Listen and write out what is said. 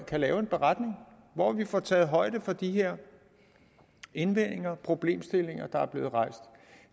kan lave en beretning hvor vi får taget højde for de her indvendinger problemstillinger der er blevet rejst